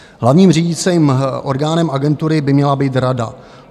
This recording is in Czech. Hlavním řídícím orgánem agentury by měla být rada.